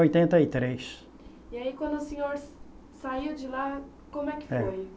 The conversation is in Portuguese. Oitenta e três. E aí quando o senhor saiu de lá, como é que foi? É